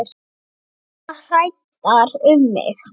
Orðnar hræddar um mig.